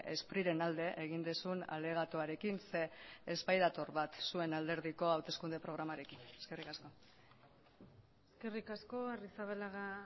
spriren alde egin duzun alegatuarekin zeren ez badator bat zuen alderdiko hauteskunde programarekin eskerrik asko eskerrik asko arrizabalaga